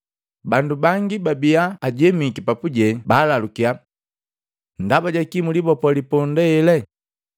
bandu bangi bababii ajemiki papuje baalalukya, “Ndaba jakii mwilibopoo liponda hele?”